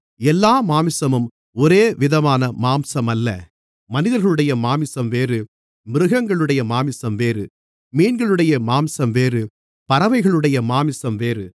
எல்லா மாம்சமும் ஒரேவிதமான மாம்சமல்ல மனிதர்களுடைய மாம்சம் வேறு மிருகங்களுடைய மாம்சம் வேறு மீன்களுடைய மாம்சம் வேறு பறவைகளுடைய மாம்சம் வேறு